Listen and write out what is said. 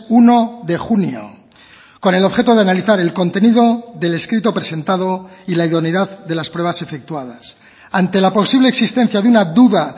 uno de junio con el objeto de analizar el contenido del escrito presentado y la idoneidad de las pruebas efectuadas ante la posible existencia de una duda